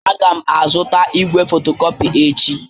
Aga m azụta igwe fotocopy echi.